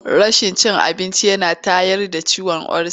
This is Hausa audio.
Rashin cin abinci yana tayar da ciwon olsa.